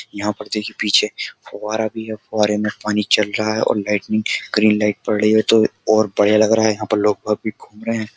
यहाँ पर देखिये पीछे फव्वारा भी है फव्वारे में पानी चल रहा है और लाइटनिंग ग्रीन लाइट पड़ रही है तो और बढिया लग रहा है यहाँ पर लोग बाग अभी घूम रहें हैं।